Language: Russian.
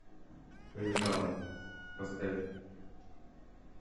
решала поставь